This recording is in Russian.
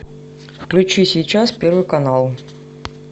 включи сейчас первый канал